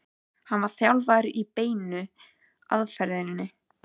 hann var þjálfaður í beinu aðferðinni.